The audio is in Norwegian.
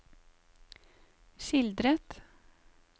skildret